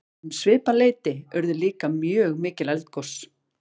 um svipað leyti urðu líka mjög mikil eldgos